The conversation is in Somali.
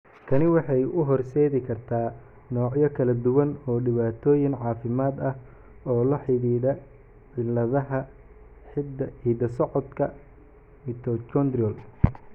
Tani waxay u horseedi kartaa noocyo kala duwan oo dhibaatooyin caafimaad ah oo la xidhiidha cilladaha hidda-socodka mitochondrial.